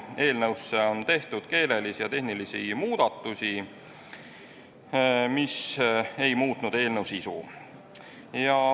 Eelnõusse on tehtud keelelisi ja tehnilisi muudatusi, mis ei ole muutnud eelnõu sisu.